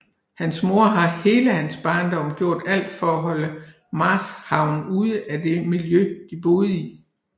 Hans mor har hele hans barndom gjort alt for at holde Marshawn ude af det miljø de boede i